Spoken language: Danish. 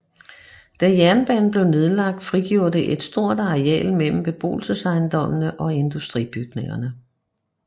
Da jernbanen blev nedlagt frigjorde det et stort areal mellem beboelsesejendommene og industribygningerne